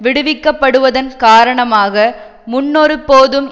விடுவிக்கப்படுவதன் காரணமாக முன்னொருபோதும்